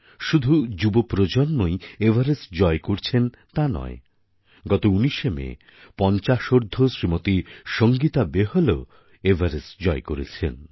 শুধু যুবপ্রজন্মই এভারেস্ট জয় করছেন তা নয় গত ১৯শে মে পঞ্চাশোর্ধ্ব শ্রীমতী সঙ্গীতা বেহলও এভারেস্ট জয় করেছেন